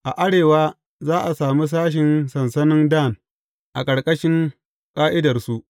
A arewa za a sami sashen sansanin Dan, a ƙarƙashin ƙa’idarsu.